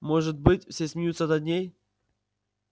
может быть все смеются над ней